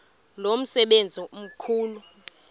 lo msebenzi mkhulu